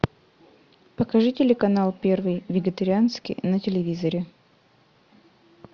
покажи телеканал первый вегетарианский на телевизоре